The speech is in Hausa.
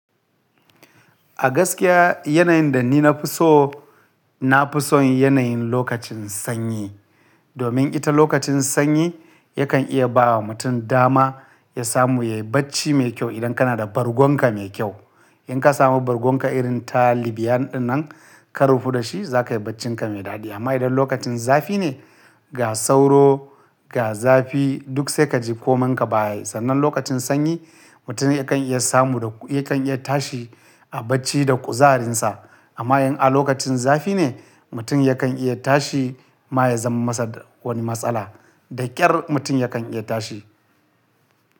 A gaskiya yanayin da ni na fi so, na fi son yanayin lokacin sanyi. Domin ita lokacin sanyi yakan iya ba wa mutum dama ya samu yayi bacci mai kyau idan kana da bargon ka mai kyau. In ka samu bargon ka irin ta Libyan dinnan ka rufe da shi za ka yi bacci ka mai daɗi. Amma idan lokacin zafi ne, ga sauro, ga zafi duk sai ka ji komon ka baya. Sannan lokacin sanyi mutum yakan iya samu da yakan iya tashi a bacci da kuzarinsa. Amma in a lokacin zafi ne mutum yakan iya tashi ma ya zama masa wani matsala. Da ƙyar mutum yakan iya tashi.